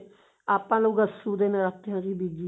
ਆਪਾਂ ਲੋਕ ਅੱਸੂ ਦੇ ਨਰਾਤਿਆਂ ਵਿੱਚ ਹੀ ਬੀਜੀ